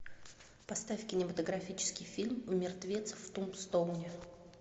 поставь кинематографический фильм мертвец в тумбстоуне